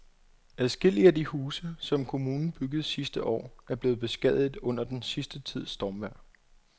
Adskillige af de huse, som kommunen byggede sidste år, er blevet beskadiget under den sidste tids stormvejr.